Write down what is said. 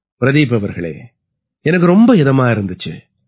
பிரதீப் அவர்களே எனக்கு ரொம்ப இதமா இருந்திச்சு